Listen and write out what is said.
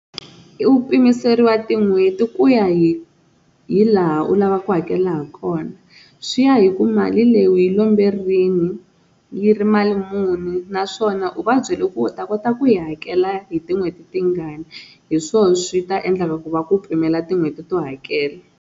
I u pimiseriwa tin'hweti ku ya hi hi laha u lavaka ku hakela ha kona, swi ya hi ku mali leyi u yi lombe rini yi ri mali muni naswona u va byele ku u ta kota ku yi hakela hi tinhweti tingani hi swona swi ta endla ku va ku pimela tin'hweti to hakela.